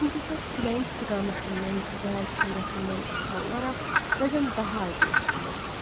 Çünki səs küləyin istiqamətindən və sürətindən asılı olaraq bəzən daha aydın eşidilirdi.